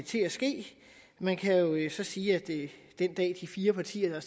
til at ske man kan jo så sige at den dag de fire partier